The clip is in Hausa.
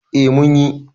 e mun yi